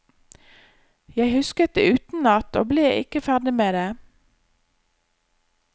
Jeg husket det utenat, og ble ikke ferdig med det.